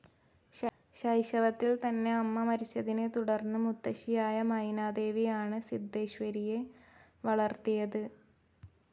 ശൈശവത്തിൽ തന്നെ അമ്മ മരിച്ചതിനെ തുടർന്ന് മുത്തശ്ശിയായ മൈനാദേവിയാണ് സിദ്ധേശ്വരിയെ വളർത്തിയത്.